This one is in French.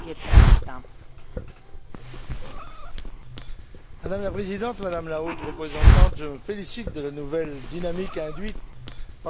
Madame la Présidente, Madame la Haute représentante, je me félicite de la nouvelle dynamique induite par le lancement du partenariat pour la modernisation et de son pragmatisme.